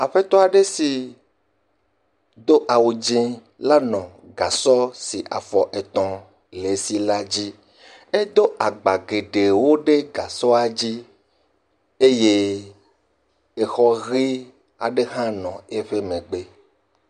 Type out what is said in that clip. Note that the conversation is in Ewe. Aƒetɔ aɖe si do awu dzeŋ la nɔ gasɔ si afɔ etɔ̃ le si la dzi, edo agba geɖewo ɖe gasɔa dzi, eye exɔ ɣie aɖe hã nɔ eƒe megbe.